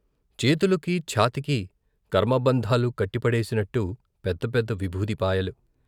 చేతులకి, ఛాతీకి కర్మబంధాలు కట్టి పడేసినట్టు పెద్ద పెద్ద విభూతి పాయలు.